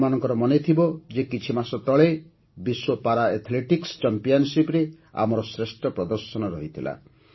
ଆପଣଙ୍କର ମନେଥିବ ଯେ କିଛିମାସ ତଳେ ବିଶ୍ୱ ପାରା ଆଥ୍ଲେଟିକ୍ସ ଚାମ୍ପିଅନ୍ସିପ୍ରେ ଆମର ଶ୍ରେଷ୍ଠ ପ୍ରଦର୍ଶନ ରହିଥିଲା